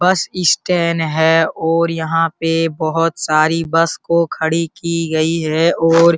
बस स्टैंड है और यहाँ पे बहुत सारी बस को खड़ी की गई है और --